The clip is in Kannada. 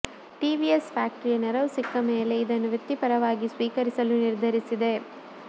ಟಿವಿಎಸ್ ಫ್ಯಾಕ್ಟರಿಯ ನೆರವು ಸಿಕ್ಕ ಮೇಲೆ ಇದನ್ನು ವೃತ್ತಿಪರವಾಗಿ ಸ್ವೀಕರಿಸಲು ನಿರ್ಧರಿಸಿದೆ